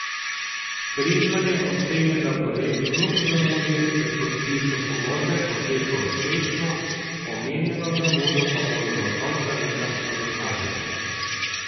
Križman je ocenil, da projekt kljub zamudi pri podpisu pogodbe poteka uspešno, omenjeno zamudo pa bodo do konca leta nadoknadili.